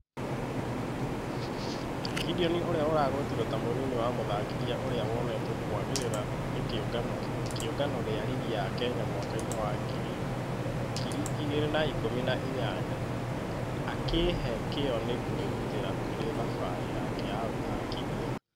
Gideon ũrĩa ũragũetirwo ta mũnini wa mũthakithia ũria wonetwo kũagĩrĩra nĩ kĩũngano gia rigi ya kenya mwaka-inĩ wa ngiri igĩri na ikũmi na inyanya, akĩhee...kĩo na kwĩrutera kũri thafarĩ yake ya ũthakithia.